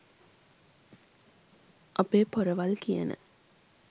අපේ පොරවල් කියන